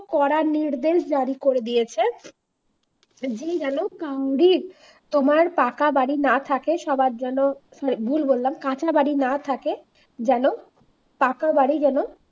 করার নির্দেশ জারি করে দিয়েছে যে যেন তোমার পাকা বাড়ি না থাকে সবার যেন ভুল বললাম কাঁচা বাড়ি না থাকে যেন পাকা বাড়ি যেন